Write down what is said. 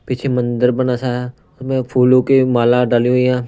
पीछे मंदिर बना सा है में फूलों की माला डाली हुई है।